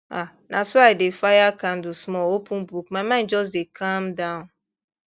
ah na so i dey fire candle small open book my mind just dey calm down